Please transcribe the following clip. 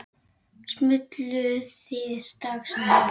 Smulluð þið strax saman?